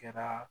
Kɛra